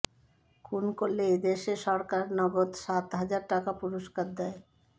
খুন করলে এই দেশে সরকার নগদ সাত হাজার টাকা পুরস্কার দেয়